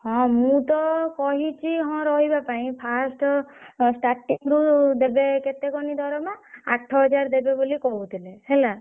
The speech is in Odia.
ହଁ ମୁଁ ତ କହିଛି ହଁ ରହିବା ପାଇଁ first starting ରୁ ଦେବେ କେତେ କହନି ଦରମା ଆଠ ହଜାର ଦେବେ ବୋଲି କହୁଥିଲେ ହେଲା।